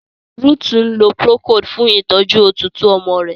Ruth nlò procold fun ìtọjú òtútù ọmọ rẹ.